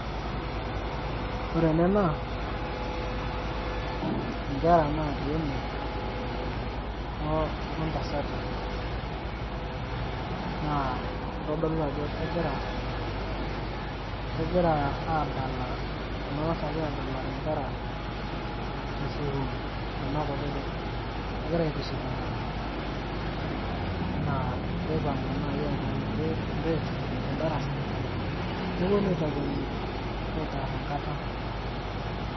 ore ena naa inkera natii ene o ntasati naa kitodolu ajo kegira aadala kuna tasati aadalare nkera te sukuul kuna kutitik kegira aitiship inkera enaa neipang'u naaji eeta enkiti break te darasa neponu aitakweni aitarr enkata.